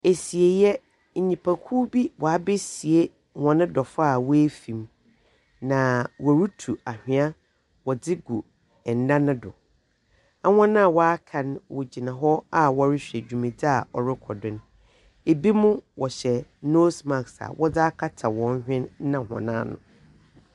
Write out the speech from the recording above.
Esiei, nyimpakuw bi woebesie wɔn dɔfo a oefim. Na worutu anhwea wɔdze gu nda no do. Hɔn a wɔaka no gyina hɔ a wɔrohwɛ dwumadzi a ɔrokɔ do no. Binom wɔhyɛ nose mask a wɔdze akata hɔn hwen na hɔn ano.